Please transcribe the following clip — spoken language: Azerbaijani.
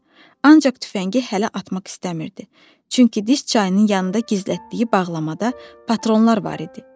Ancaq tüfəngi hələ atmaq istəmirdi, çünki dis çayının yanında gizlətdiyi bağlamada patronlar var idi.